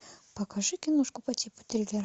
покажи киношку по типу триллера